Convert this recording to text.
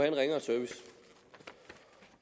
en ringere service